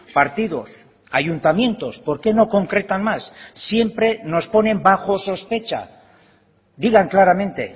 partidos ayuntamientos por qué no concretan más siempre nos ponen bajo sospecha digan claramente